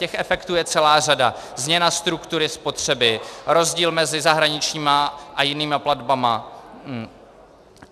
Těch efektů je celá řada: změna struktury spotřeby, rozdíl mezi zahraničními a jinými platbami.